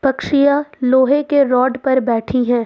लोहे के रॉड पर बैठी है।